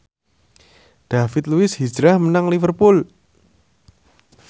David Luiz hijrah menyang Liverpool